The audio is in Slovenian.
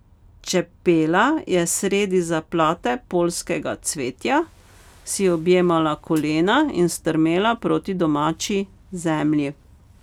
Čepela je sredi zaplate poljskega cvetja, si objemala kolena in strmela proti domači zemlji.